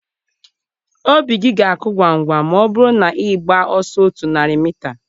Obi gị ga-akụ ngwa ngwa ma ọ bụrụ na ị na-agba ọsọ otu narị mita.